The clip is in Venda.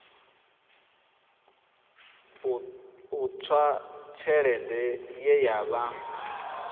ṱuswa tshelede ye ya vha